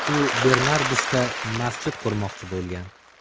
U Bernardsda masjid qurmoqchi bo‘lgan.